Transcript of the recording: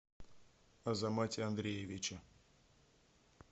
азамате андреевиче